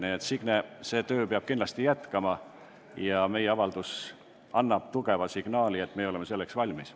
Nii et, Signe, see töö peab kindlasti jätkuma ja meie avaldus annab tugeva signaali, et oleme selleks valmis.